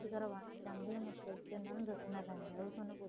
ਤੁਸੀਂ ਕਰਵਾਣਾ ਚਾਹੁੰਦੇ ਹੋ ਮਤਲਬ ਕੀ ਉਹਨਾ ਨੂੰ ਦੱਸਣਾ ਪੈਂਦਾ ਉਹ ਤੁਹਾਨੂੰ